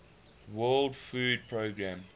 world food programme